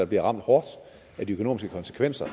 bliver ramt hårdt af de økonomiske konsekvenser